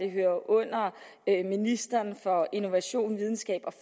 hører under ministeren for innovation videnskab og